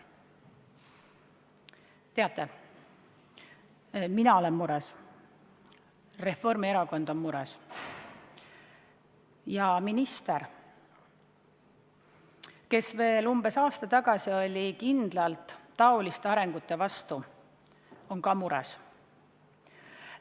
Teate, mina olen mures, Reformierakond on mures ja minister, kes veel umbes aasta tagasi oli kindlalt taoliste arengute vastu, on ka mures.